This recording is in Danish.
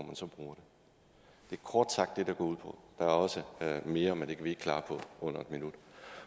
kort sagt det det går ud på der er også mere men det kan vi ikke klare på under en minut